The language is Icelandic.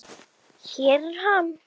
Hér er hann.